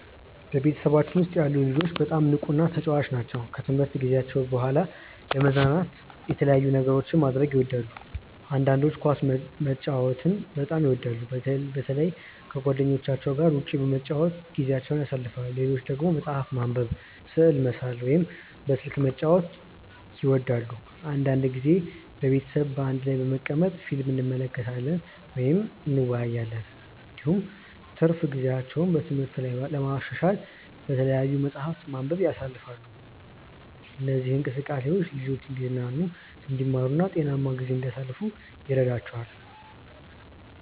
በቤተሰባችን ውስጥ ያሉ ልጆች በጣም ንቁና ተጫዋች ናቸው። ከትምህርት ጊዜያቸው በኋላ ለመዝናናት የተለያዩ ነገሮችን ማድረግ ይወዳሉ። አንዳንዶቹ ኳስ መጫወትን በጣም ይወዳሉ፣ በተለይ ከጓደኞቻቸው ጋር ውጭ በመጫወት ጊዜያቸውን ያሳልፋሉ። ሌሎች ደግሞ መጽሐፍ ማንበብ፣ ስዕል መሳል ወይም በስልክ ጨዋታ መጫወት ይወዳሉ። አንዳንድ ጊዜ ቤተሰብ በአንድ ላይ በመቀመጥ ፊልም እንመለከታለን ወይም እንወያያለን። እንዲሁም ትርፍ ጊዜያቸውን በትምህርት ላይ ለማሻሻል በተለያዩ መጻሕፍት ማንበብ ያሳልፋሉ። እነዚህ እንቅስቃሴዎች ልጆቹ እንዲዝናኑ፣ እንዲማሩ እና ጤናማ ጊዜ እንዲያሳልፉ ይረዳቸዋል።